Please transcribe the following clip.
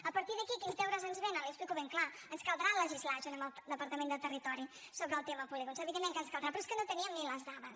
a partir d’aquí quins deures ens venen l’hi explico ben clarament ens caldrà legislar junt amb el departament de territori sobre el tema polígons evidentment que ens caldrà però és que no teníem ni les dades